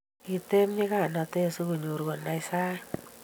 kiteb nyikanatet sokonyor konai saiti